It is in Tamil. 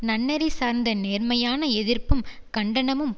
நன்னெறி சார்ந்த நேர்மையான எதிர்ப்பும் கண்டனமும்